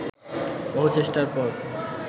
বহু চেষ্টার পর